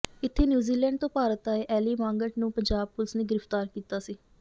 ਇੱਥੇ ਨਿਊਜ਼ੀਲੈਂਡ ਤੋਂ ਭਾਰਤ ਆਏ ਐਲੀ ਮਾਂਗਟ ਨੂੰ ਪੰਜਾਬ ਪੁਲਿਸ ਨੇ ਗ੍ਰਿਫ਼ਤਾਰ ਕੀਤਾ ਸੀ